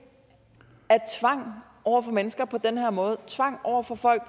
tvang over for mennesker på den her måde tvang over for folk